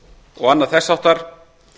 og annað þess háttar